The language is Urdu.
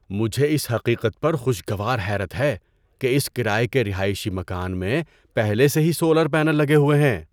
مجھے اس حقیقت پر خوشگوار حیرت ہے کہ اس کرایے کے رہائشی مکان میں پہلے سے ہی سولر پینل لگے ہوئے ہیں۔